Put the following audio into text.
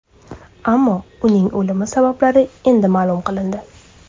Ammo uning o‘limi sabablari endi ma’lum qilindi.